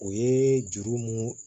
O ye juru mun